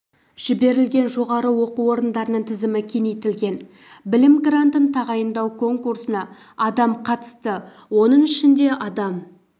жіберілген жоғары оқу орындарының тізімі кеңейтілген білім грантын тағайындау конкурсына адам қатысты оның ішінде адам